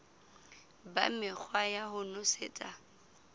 ba mekgwa ya ho nosetsa